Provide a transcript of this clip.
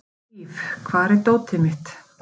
Víf, hvar er dótið mitt?